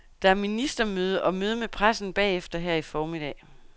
Der er ministermøde og møde med pressen bagefter her i formiddag.